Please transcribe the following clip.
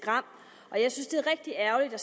har